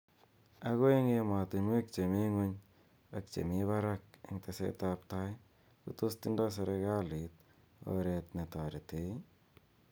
Ako eng ematumwek che mi ngwuny ak che mi barak eng teset ab tai , ko tos tindoi serikalit oret netarete?.